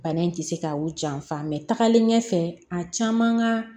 Bana in tɛ se ka u janfa tagalen ɲɛfɛ a caman ka